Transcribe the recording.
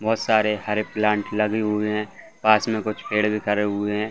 बहोत सारे हरे प्लाँट लगे हुए है पास में कुछ पेड़ भी खड़े हुए है।